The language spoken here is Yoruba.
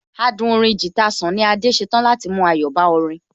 Adùn orin guitar Sunny Adé ṣetán láti mú ayọ̀ bá orin